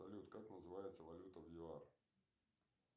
салют как называется валюта в юар